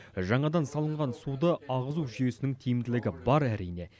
жаңадан салынған суды ағызу жүйесінің тиімділігі бар әрине